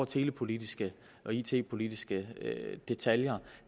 telepolitiske og it politiske detaljer